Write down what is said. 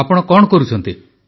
ଆପଣ କଣ କରୁଛନ୍ତି